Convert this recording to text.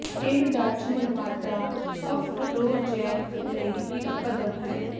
ਇਹ ਡੱਚ ਨਿਰਮਾਤਾ ਅਫਰੋਜੈਕ ਲਈ ਵੀ ਇੱਕ ਕਦਮ ਹੈ